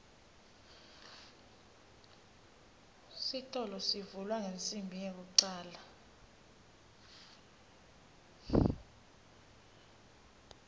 sitolo sivulwa ngensimbi yekucale